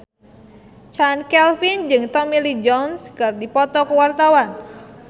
Chand Kelvin jeung Tommy Lee Jones keur dipoto ku wartawan